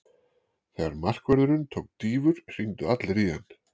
Þegar markaðurinn tók dýfur hringdu allir í hann.